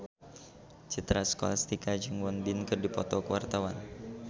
Citra Scholastika jeung Won Bin keur dipoto ku wartawan